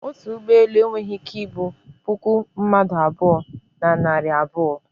otu ụgbọ elu enweghị ike ibu puku mmadụ abụọ, na narị abuo